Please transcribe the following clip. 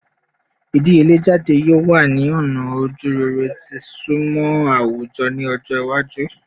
Idiyele jade yoo wa ni ọna ojurere ti isunmọ awujọ ni ọjọ iwaju